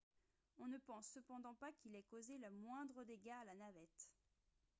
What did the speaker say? on ne pense cependant pas qu'ils aient causé le moindre dégât à la navette